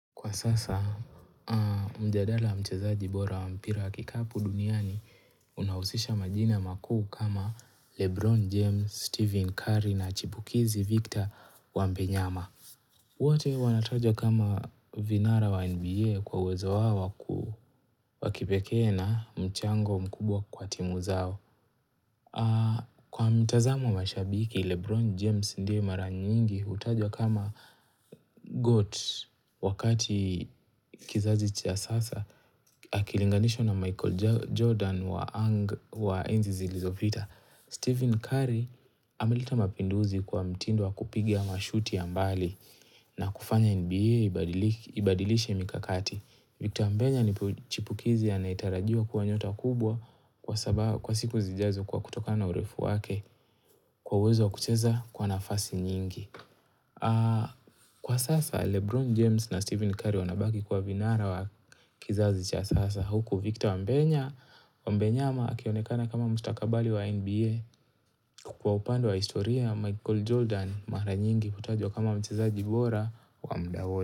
Kwa sasa, mjadala wa mchezaji bora wa mpira wa kikapu duniani unahusisha majina makuu kama Lebron James, Stephen Curry na chipukizi Victor wambenyama. Wote wanatajwa kama vinara wa NBA kwa uwezo wao wakipeke na mchango mkubwa kwa timu zao. Kwa mitazamo ya mashabiki, Lebron James ndiye mara nyingi hutajwa kama Goat wakati kizazi cha sasa Akilinganishwa na Michael Jordan wa enzi Zilizopita Stephen Curry ameleta mapinduzi kwa mtindo wa kupiga mashuti ya mbali na kufanya NBA ibadilishe mikakati Victor wambenya ni chipukizi anayetarajiwa kuwa nyota kubwa kwa siku zijazo kwa kutokana urefu wake kwa uwezo wa kucheza kwa nafasi nyingi. Kwa sasa Lebron James na Stephen Curry wanabaki kuwa vinara wa kizazi cha sasa huku Victor Wambenya. Mbenyama akionekana kama mstakabali wa NBA kwa upande wa historia Michael Jordan mara nyingi hutajwa kama mchezaji bora wa muda wote.